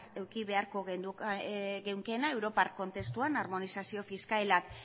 eduki beharko genukeena europa kontestuan armonizazio fiskalak